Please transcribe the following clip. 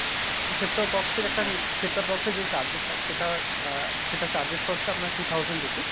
set top box এর একটা set top box এর যে charges হয় সেটা আ সেটার charges হচ্ছে আপনার two thousand rupees।